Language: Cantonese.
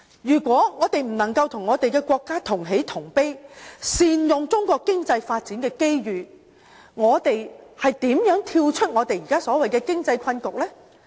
如果我們不能與國家同喜同悲，善用中國經濟發展的機遇，我們如何跳出現時所謂的經濟困局呢？